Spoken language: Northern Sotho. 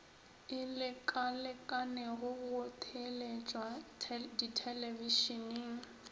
e lekalekanego go theeletšwa thelebišeneng